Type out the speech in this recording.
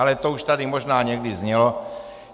Ale to už tady možná někdy znělo.